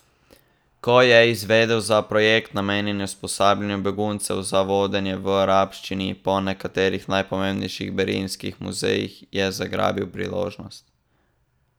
Ko je izvedel za projekt, namenjen usposabljanju beguncev za vodenje v arabščini po nekaterih najpomembnejših berlinskih muzejih, je zgrabil priložnost.